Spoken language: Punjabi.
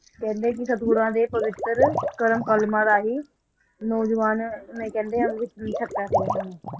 ਕਹਿੰਦੇ ਕਿ ਸਤਿਗੁਰਾਂ ਦੇ ਪਵਿੱਤਰ, ਕਰ-ਕਲਮਾਂ ਰਾਹੀਂ, ਨੌਜਵਾਨ ਨੇ ਕਹਿੰਦੇ ਅੰਮ੍ਰਿਤ ਛਕਿਆ ਸੀ ਇਹਨਾਂ ਨੇ